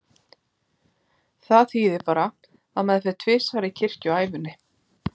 Það þýðir bara að maður fer tvisvar í kirkju á ævinni.